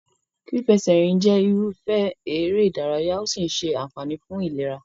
Fífẹsẹ̀rìn jẹ́ irúfẹ́ eré-ìdárayá¸ ó sì ń ṣe àǹfààní fún ìlera.